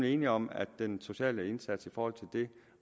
enige om at den sociale indsats i forhold til det